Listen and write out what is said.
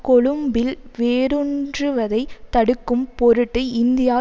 கொழும்பில் வேரூன்றுவதைத் தடுக்கும் பொருட்டு இந்தியா